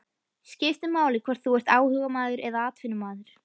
Skiptir máli hvort þú ert áhugamaður eða atvinnumaður?